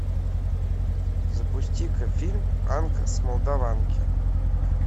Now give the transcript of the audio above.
запусти ка фильм анка с молдаванки